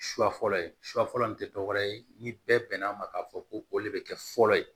Su fɔlɔ ye su fɔlɔ nin te dɔwɛrɛ ye ni bɛɛ bɛn n'a ma k'a fɔ ko o le be kɛ fɔlɔ ye